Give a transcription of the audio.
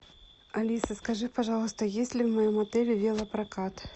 алиса скажи пожалуйста есть ли в моем отеле велопрокат